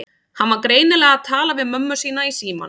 Hann var greinilega að tala við mömmu sína í símann.